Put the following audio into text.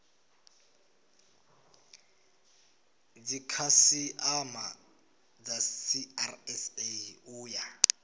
dzikhasiama dza srsa u ya